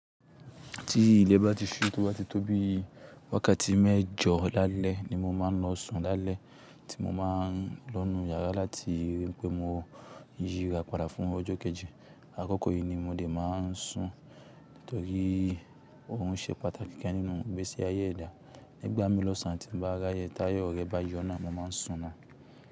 Tí ilẹ̀ bá ti ṣú tóbá ti tó bí wákàtí mẹ́jọ lálẹ́ ni mo máa ń lọ sùn lálẹ́ tí mo bá lọ nu yàrá láti rí pé mo yíra padà fún ọjọ́ kejì. Àkókò yìí ni mo dẹ̀ máa ń sùn nítorí òrun ṣe pàtàkì kan nínú gbèsè ayé ẹ̀dá. Nígbà mí lọ̀sán tí mo bá ráyè táyọ rẹ bá yọ́nà, mo máa ń sùn náà.